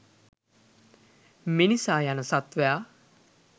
මිනිසා යන සත්ත්වයා